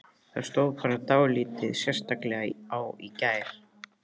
Það stóð bara dálítið sérstaklega á í gær.